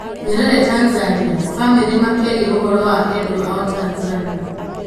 Nyerere Tanzania: Famĩlĩ makĩaria ũhoro wa endwa ao Tanzania